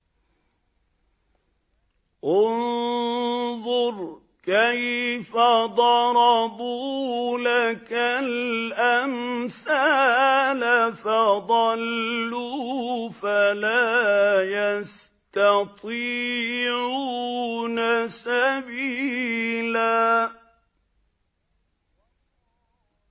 انظُرْ كَيْفَ ضَرَبُوا لَكَ الْأَمْثَالَ فَضَلُّوا فَلَا يَسْتَطِيعُونَ سَبِيلًا